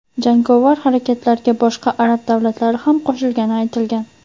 Jangovar harakatlarga boshqa arab davlatlari ham qo‘shilgani aytilgan.